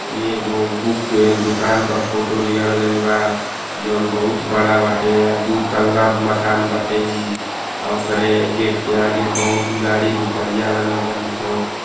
ई एगो बुक के दुकान के फोटो लिहल गईल बा। जौन् बहुत बड़ा बाटे। दु तल्ला मकान बाटे ई अ ऑकरे गेट के आगे बहुत गाड़ी दुपहिया लागल बाड़ी सन।